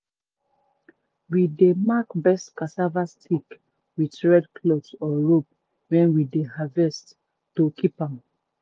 to preserve to preserve um seed wey dun old cun tay you go need patience sense and respect for land.